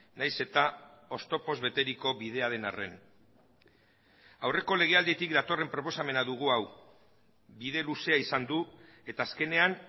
nahiz eta oztopoz beteriko bidea den arren aurreko legealditik datorren proposamena dugu hau bide luzea izan du eta azkenean